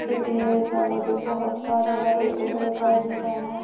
इस इमेज़ मे मुझे बहुत सारे हरे पेड़ दिखाई दे रहे है।